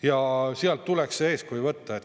Ja sealt tuleks eeskuju võtta.